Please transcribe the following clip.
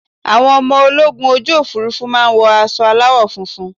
Àwọn ọmọ ológun ojú Òfurufú máa ń wọ aṣọ aláwọ̀ funfun.